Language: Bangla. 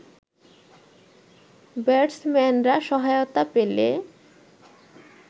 ব্যাটসম্যানরা সহায়তা পেলে